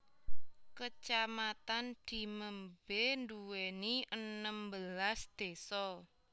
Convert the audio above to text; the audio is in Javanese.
Kacamatan Dimembe nduwèni enem belas désa